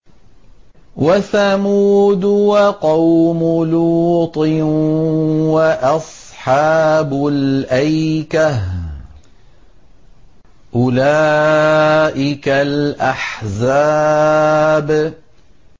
وَثَمُودُ وَقَوْمُ لُوطٍ وَأَصْحَابُ الْأَيْكَةِ ۚ أُولَٰئِكَ الْأَحْزَابُ